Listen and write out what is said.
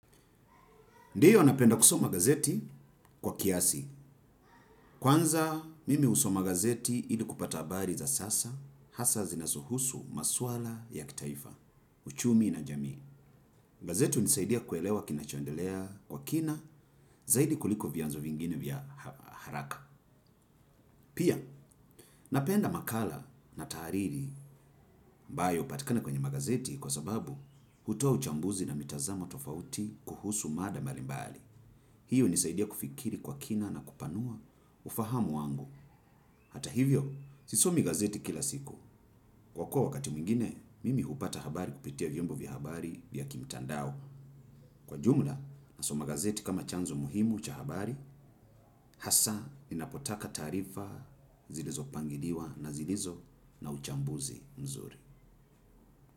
Ndio napenda kusoma gazeti, kwa kiasi. Kwanza, mimi husoma gazeti ili kupata habari za sasa, hasa zinao husu maswala ya kitaifa, uchumi na jamii. Gazeti hunisaidia kuelewa kina chondelea kwa kina, zaidi kuliko vianzo vingine vya haraka. Pia, napenda makala na tariri ambayo hupatikana kwenye magazeti, kwa sababu hutoa uchambuzi na mitazamo tofauti, kuhusu mada mbali mbali. Hiyo unisaidia kufikiri kwa kina na kupanua ufahamu wangu. Hata hivyo, sisomi gazeti kila siku. Kwa kuwa wakati mwingine, mimi hupata habari kupitia vyombo vya habari, vya kimtandao. Kwa jumla, nasoma gazeti kama chanzo muhimu cha habari. Hasa, ninapotaka taarifa zilizo pangiliwa na zilizo na uchambuzi mzuri.